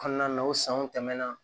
Kɔnɔna na o sanw tɛmɛna